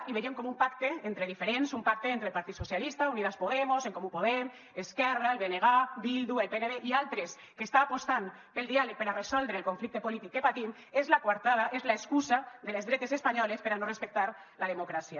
i veiem com un pacte entre diferents un pacte entre el partit socialista unidas podemos en comú podem esquerra el bng bildu el pnv i altres que està apostant pel diàleg per a resoldre el conflicte polític que patim és la coartada és l’excusa de les dretes espanyoles per a no respectar la democràcia